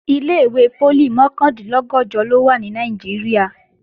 Ilé-ìwé poli mọ̀kàndínlọ́gọ̀jọ ló wà ní Nàìjíríà